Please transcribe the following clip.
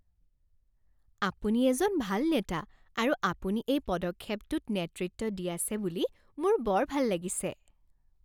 আপুনি এজন ভাল নেতা আৰু আপুনি এই পদক্ষেপটোত নেতৃত্ব দি আছে বুলি মোৰ বৰ ভাল লাগিছে।